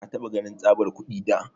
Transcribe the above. Ka taba kanin tsabar kudi da?